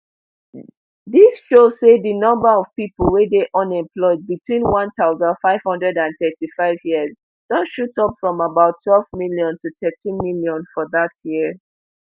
dis show say di number of pipo wey dey unemployed between one thousand, five hundred and thirty-five years don shoot up from about twelve million to thirteenmillion for dat year